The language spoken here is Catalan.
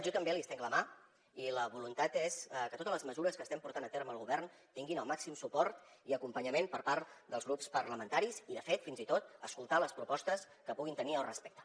jo també li estenc la mà i la voluntat és que totes les mesures que estem portant a terme al govern tinguin el màxim suport i acompanyament per part dels grups parlamentaris i de fet fins i tot escoltar les propostes que puguin tenir al respecte